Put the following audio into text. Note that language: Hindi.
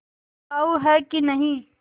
बिकाऊ है कि नहीं